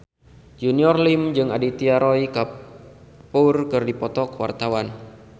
Junior Liem jeung Aditya Roy Kapoor keur dipoto ku wartawan